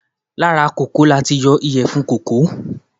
Láti ara èso kòkó ni a tí yọ ìyèfun kòkó